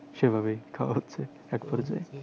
সেভাবেই খাওয়া হচ্ছে